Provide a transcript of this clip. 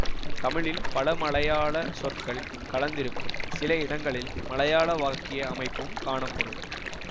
தமிழில் பல மலையாள சொற்கள் கலந்திருக்கும் சில இடங்களில் மலையாள வாக்கிய அமைப்பும் காணப்படும்